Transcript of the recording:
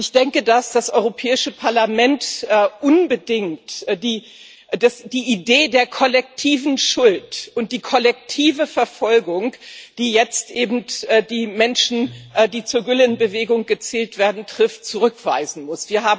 Und ich denke, dass das Europäische Parlament unbedingt die Idee der kollektiven Schuld und die kollektive Verfolgung, die jetzt eben die Menschen, die zur Gülen Bewegung gezählt werden, trifft, zurückweisen muss.